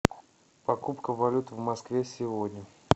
покупка валюты в москве сегодня